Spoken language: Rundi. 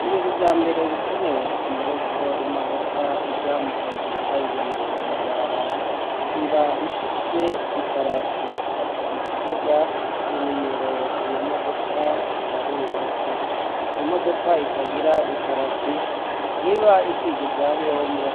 mu bintu vyambere bikenewe imbere yuko imodoka ija mu kazi kayigenewe mw'ibarabara iba ifise iparati ni ukuvuga inimero iyo modoka ibaruweko imodoka itagira iparati ntiba ikwije ivyangombwa